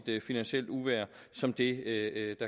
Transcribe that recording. et finansielt uvejr som det